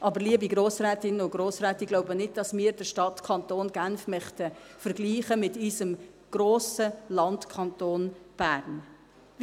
Aber, liebe Grossrätinnen und Grossräte, ich glaube nicht, dass wir den Stadtkanton Genf mit unserem grossen Landkanton Bern vergleichen möchten.